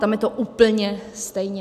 Tam je to úplně stejně.